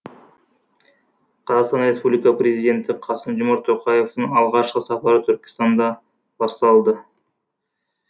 қр президенті қасым жомарт тоқаевтың алғашқы сапары түркістанда басталды